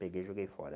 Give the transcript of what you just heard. Peguei e joguei fora.